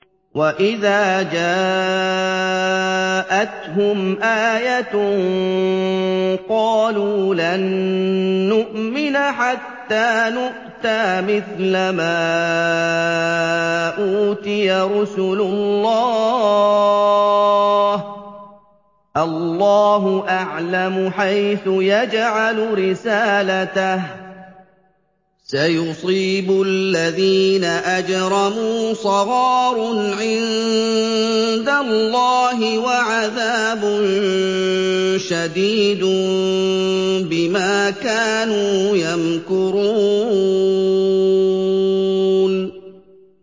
وَإِذَا جَاءَتْهُمْ آيَةٌ قَالُوا لَن نُّؤْمِنَ حَتَّىٰ نُؤْتَىٰ مِثْلَ مَا أُوتِيَ رُسُلُ اللَّهِ ۘ اللَّهُ أَعْلَمُ حَيْثُ يَجْعَلُ رِسَالَتَهُ ۗ سَيُصِيبُ الَّذِينَ أَجْرَمُوا صَغَارٌ عِندَ اللَّهِ وَعَذَابٌ شَدِيدٌ بِمَا كَانُوا يَمْكُرُونَ